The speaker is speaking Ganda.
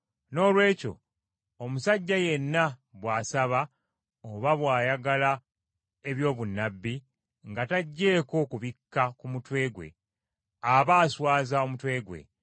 Noolwekyo omusajja yenna bw’asaba oba bw’ayogera eby’obunnabbi nga taggyeko kibikka ku mutwe gwe, aba aswaza omutwe gwe.